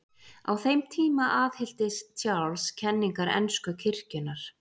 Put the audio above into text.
Á þeim tíma aðhylltist Charles kenningar ensku kirkjunnar.